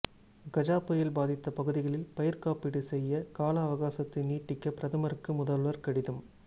கஜா புயல் பாதித்த பகுதிகளில் பயிர் காப்பீடு செய்ய கால அவகாசத்தை நீட்டிக்க பிரதமருக்கு முதல்வர் கடிதம்